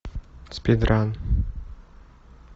спид ран